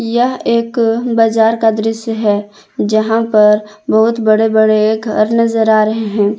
यह एक बजार का दृश्य है जहां पर बहोत बड़े बड़े घर नजर आ रहे हैं।